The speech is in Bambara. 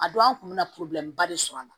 A don an kun me na ba de sɔrɔ a la